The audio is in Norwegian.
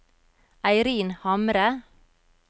Eirin Hamre